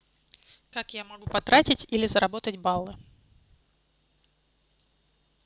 как я могу потратить или заработать баллы